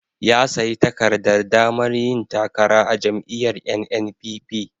Ya sayi takardar damar yin takara a jam'iyyar NNPP.